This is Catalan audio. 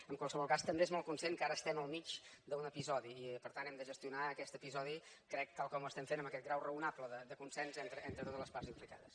en qualsevol cas també és molt conscient que ara estem al mig d’un episodi i per tant hem de gestionar aquest episodi ho crec tal com ho estem fent amb aquest grau raonable de consens entre totes les parts implicades